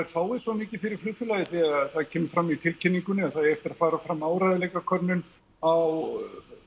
fái svo mikið fyrir flugfélagið því það kemur fram í tilkynningunni að það eigi eftir að fara fram áreiðanleikakönnun á